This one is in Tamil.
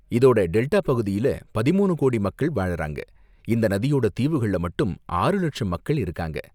இதோட டெல்டா பகுதியில பதிமூனு கோடி மக்கள் வாழ்றாங்க, இந்த நதியோட தீவுகள்ல மட்டும் ஆறு லட்சம் மக்கள் இருக்காங்க.